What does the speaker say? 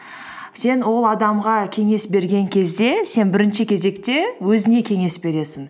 сен ол адамға кеңес берген кезде сен бірінші кезекте өзіңе кеңес бересің